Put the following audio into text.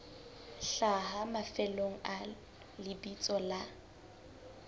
hlaha mafelong a lebitso la